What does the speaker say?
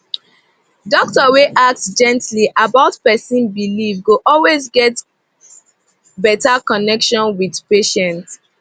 doctor wey ask gently about person belief go always get better connection with patient